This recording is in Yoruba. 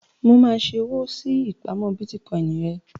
Mo máa ṣe owó sí ìpamọ́ Bítíkọì rẹ.